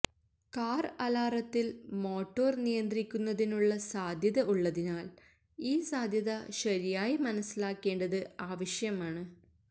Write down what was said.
car അലാറത്തിൽ motor നിയന്ത്രിക്കുന്നതിനുള്ള സാധ്യത ഉള്ളതിനാൽ ഈ സാധ്യത ശരിയായി മനസ്സിലാക്കേണ്ടത് ആവശ്യമാണ്